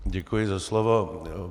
Děkuji za slovo.